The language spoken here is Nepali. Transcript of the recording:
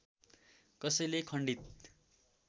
कसैले खण्डित